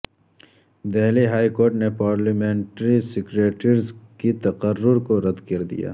Delhi high court نے parliamentary secretaries کے تقرر کو رد کر دیا